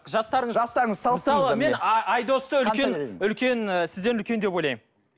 жастарыңыз жастарымыз мен айдосты үлкен үлкен ы сізден үлкен деп ойлаймын